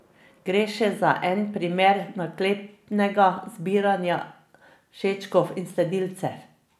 Gre še za en primer naklepnega zbiranja všečkov in sledilcev.